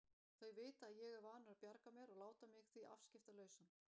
Þau vita að ég er vanur að bjarga mér og láta mig því afskiptalausan.